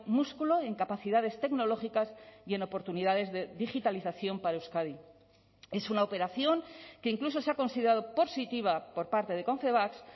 músculo en capacidades tecnológicas y en oportunidades de digitalización para euskadi es una operación que incluso se ha considerado positiva por parte de confebask